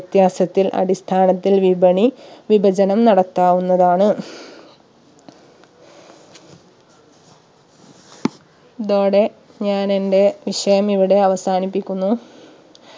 വ്യത്യാസത്തിൽ അടിസ്ഥാനത്തിൽ വിപണി വിഭജനം നടത്താവുന്നതാണ് ഇതോടെ ഞാൻ എന്റെ വിഷയം ഇവിടെ അവസാനിപ്പിക്കുന്നു